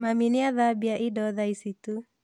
Mami nĩathambia indo tha ici tu